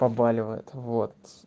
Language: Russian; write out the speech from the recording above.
побаливает вот